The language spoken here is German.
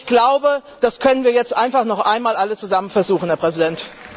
Ich glaube, das können wir jetzt einfach noch einmal alle zusammen versuchen, Herr Präsident!